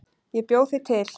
Ég bjó þig til.